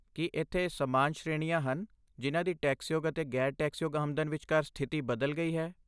ਕੀ ਇੱਥੇ ਸਮਾਨ ਸ਼੍ਰੇਣੀਆਂ ਹਨ ਜਿਨ੍ਹਾਂ ਦੀ ਟੈਕਸਯੋਗ ਅਤੇ ਗ਼ੈਰ ਟੈਕਸਯੋਗ ਆਮਦਨ ਵਿਚਕਾਰ ਸਥਿਤੀ ਬਦਲ ਗਈ ਹੈ?